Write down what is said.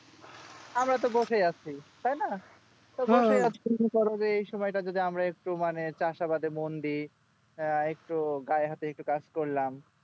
আমরা তো বসেই আছে তাই না কি কি করবো এই সময় তাই যদি আমরা একটু চাষাবাদে মন দেয় আহ একটু গায়ে হাতে কাজ করলাম